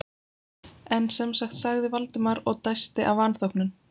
En sem sagt sagði Valdimar og dæsti af vanþóknun.